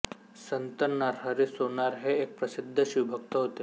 संत नरहरी सोनार हे एक प्रसिद्ध शिवभक्त होते